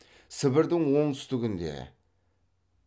сібірдің оңтүстігінде